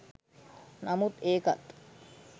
නමුත් ඒකත්